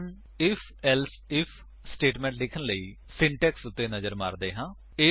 ਹੁਣ IfElse IF statement ਲਿਖਣ ਲਈ ਸਿੰਟੈਕਸ ਉੱਤੇ ਨਜ਼ਰ ਮਾਰਦੇ ਹਾਂ